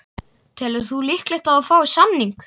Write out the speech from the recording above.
Telur þú líklegt að þú fáir samning?